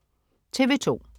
TV2: